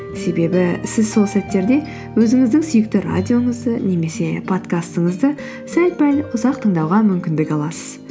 себебі сіз сол сәттерде өзіңіздің сүйікті радиоңызды немесе подкастыңызды сәл пәл ұзақ тыңдауға мүмкіндік аласыз